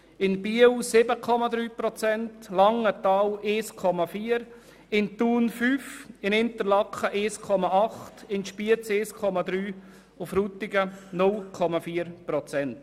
In Biel sind es 7,3 Prozent, in Langenthal 1,4 Prozent, in Thun 5 Prozent, in Interlaken 1,8 Prozent, in Spiez 1,3 Prozent und in Frutigen 0,4 Prozent.